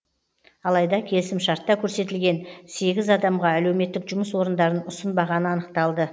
алайда келісімшартта көрсетілген сегіз адамға әлеуметтік жұмыс орындарын ұсынбағаны анықталды